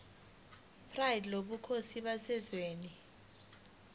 pride lobukhosi baseswazini